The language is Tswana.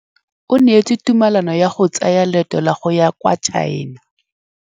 O neetswe tumalanô ya go tsaya loetô la go ya kwa China.